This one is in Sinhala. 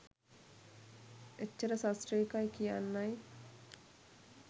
එච්චර සශ්‍රීකයි කියන්නයි